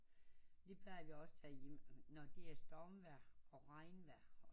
Vi plejer vi også tage hjem når der er stormvejr og regnvejr